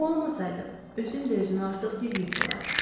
O olmasaydı, özüm də özümə artıq bir yük olardım.